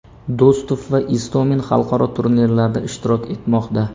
Do‘stov va Istomin xalqaro turnirlarda ishtirok etmoqda.